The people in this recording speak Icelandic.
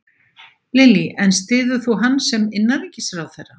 Lillý: En styður þú hann sem innanríkisráðherra?